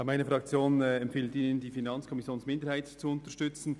Meine Fraktion empfiehlt Ihnen, die FiKo-Minderheit zu unterstützen.